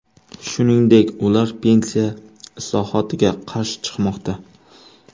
Shuningdek, ular pensiya islohotiga qarshi chiqmoqda.